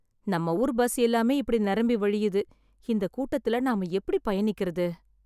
நம்ம ஊர் பஸ் எல்லாமே இப்படி நெரம்பி வழியுது, இந்த கூட்டத்துல நாம எப்படி பயணிக்கிறது?